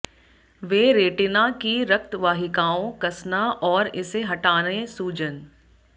वे retina की रक्त वाहिकाओं कसना और इसे हटाने सूजन